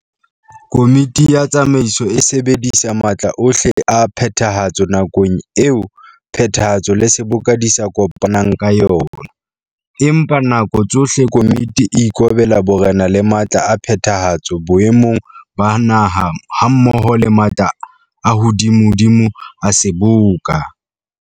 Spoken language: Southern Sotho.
Komiti ya Tsamaiso e sebedisa matla ohle a Phethahatso nakong eo Phethahatso le Seboka di sa kopanang ka yona, empa ka nako tsohle Komiti e ikobela borena le matla a Phethahatso boemong ba Naha hammoho le matla a hodimodimo a Seboka.